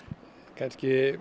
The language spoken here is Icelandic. kannski